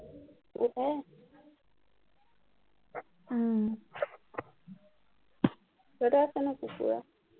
উহ কেইটা আছে নো কুকুৰা